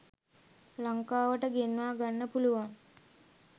ලංකාවට ගෙන්වා ගන්න පුළුවන්.